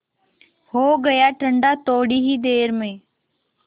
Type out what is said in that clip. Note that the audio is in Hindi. हो गया ठंडा थोडी ही देर में